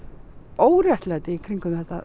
óréttlæti í kringum þetta